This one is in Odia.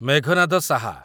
ମେଘନାଦ ସାହା